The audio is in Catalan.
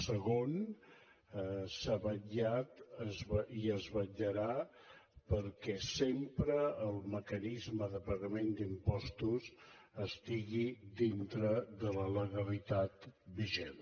segon s’ha vetllat i es vetllarà perquè sempre el mecanisme de pagament d’impostos estigui dintre de la legalitat vigent